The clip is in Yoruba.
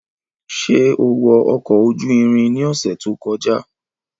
Ṣe o wọ ọkọ oju irin ni ọsẹ to kọja?